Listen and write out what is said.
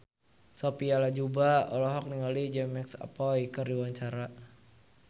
Sophia Latjuba olohok ningali James McAvoy keur diwawancara